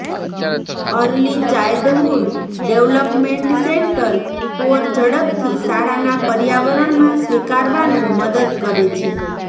early childhood development centre for ઝડપથી શાળાના પર્યાવરણમાં સ્વીકારવાનું મદદ કરે છે